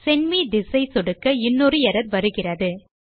send me this ஐ சொடுக்க இன்னொரு எர்ரர் வருகிறது